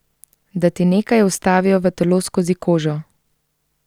Da ti nekaj vstavijo v telo skozi kožo.